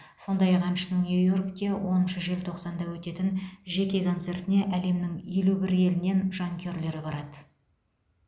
сондай ақ әншінің нью йоркте оныншы желтоқсанда өтетін жеке концертіне әлемнің елу бір елінен жанкүйерлер барады